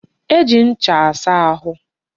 E ji ncha asa ahụ.